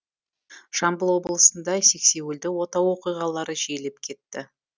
жамбыл облысында сексеуілді отау оқиғалары жиілеп кетті